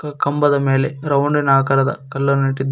ಕಂಬದ ಮೇಲೆ ರೌಂಡಿ ನ ಆಕಾರದ ಕಲ್ಲನ್ನು ಇಟ್ಟಿದ್ದಾರೆ.